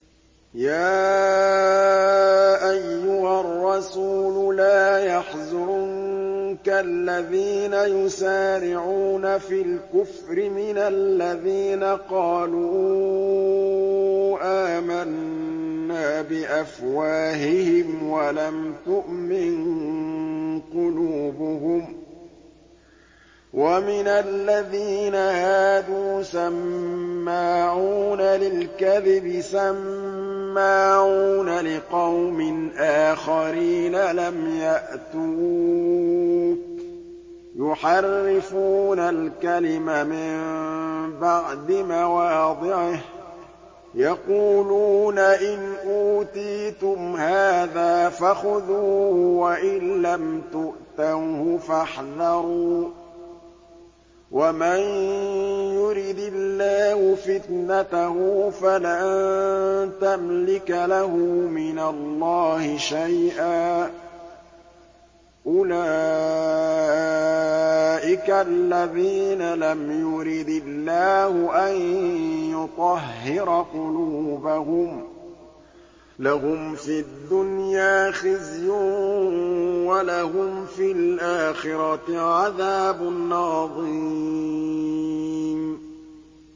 ۞ يَا أَيُّهَا الرَّسُولُ لَا يَحْزُنكَ الَّذِينَ يُسَارِعُونَ فِي الْكُفْرِ مِنَ الَّذِينَ قَالُوا آمَنَّا بِأَفْوَاهِهِمْ وَلَمْ تُؤْمِن قُلُوبُهُمْ ۛ وَمِنَ الَّذِينَ هَادُوا ۛ سَمَّاعُونَ لِلْكَذِبِ سَمَّاعُونَ لِقَوْمٍ آخَرِينَ لَمْ يَأْتُوكَ ۖ يُحَرِّفُونَ الْكَلِمَ مِن بَعْدِ مَوَاضِعِهِ ۖ يَقُولُونَ إِنْ أُوتِيتُمْ هَٰذَا فَخُذُوهُ وَإِن لَّمْ تُؤْتَوْهُ فَاحْذَرُوا ۚ وَمَن يُرِدِ اللَّهُ فِتْنَتَهُ فَلَن تَمْلِكَ لَهُ مِنَ اللَّهِ شَيْئًا ۚ أُولَٰئِكَ الَّذِينَ لَمْ يُرِدِ اللَّهُ أَن يُطَهِّرَ قُلُوبَهُمْ ۚ لَهُمْ فِي الدُّنْيَا خِزْيٌ ۖ وَلَهُمْ فِي الْآخِرَةِ عَذَابٌ عَظِيمٌ